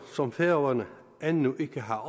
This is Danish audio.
som færøerne endnu ikke har